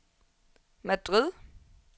Madrid